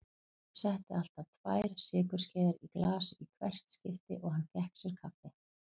Setti alltaf tvær sykurskeiðar í glas í hvert skipti og hann fékk sér kaffi.